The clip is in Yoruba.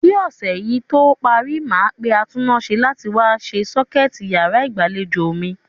Kí ọ̀sẹ̀ yí tó parí, màá pe atúnnáse láti wá se sọ́kẹ̀tì yàrá ìgbàlejò mi.